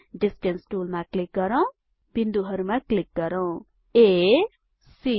distance टुलमा click गरौँ बिन्दुहरुमा क्लिक गरौँ आ सी